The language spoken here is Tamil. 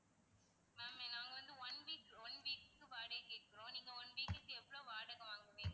ma'am நாங்க வந்து one week one week க்கு வாடகைக்கு கேக்குறோம் நீங்க one week க்கு எவ்ளோ வாடகை வாங்குவீங்க